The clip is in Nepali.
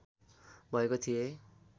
भएको थिएँ